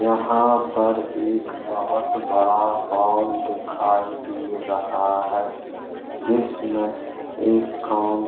यहाँ पर एक बोहोत बड़ा हॉल दिखाई दे रहा है जिसमें एक कौन --